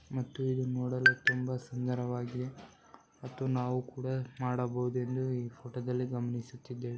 ಮತ್ತು ಇದು ನೋಡಲು ತುಂಬಾ ಸುಂದರವಾಗಿದೆ ಹಾಗೂ ನಾವು ಇದನ್ನು ಮಾಡಬಹುದು ಎಂದು ಫೋಟೋದಲ್ಲಿ ಗಮನಿಸುತ್ತಿದ್ದೇವೆ.